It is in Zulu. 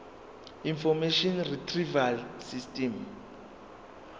information retrieval system